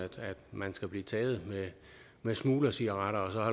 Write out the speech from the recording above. man skal blive taget med smuglercigaretter